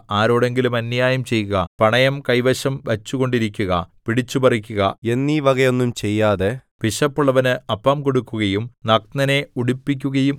ആരോടെങ്കിലും അന്യായം ചെയ്യുക പണയം കൈവശം വച്ചുകൊണ്ടിരിക്കുക പിടിച്ചുപറിക്കുക എന്നീവകയൊന്നും ചെയ്യാതെ വിശപ്പുള്ളവനു അപ്പം കൊടുക്കുകയും നഗ്നനെ ഉടുപ്പിക്കുകയും